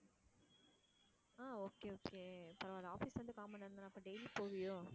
ஆஹ் okay okay பரவாயில்லை office லருந்து கால் மணிநேரம் தான அப்போ daily போவியோ?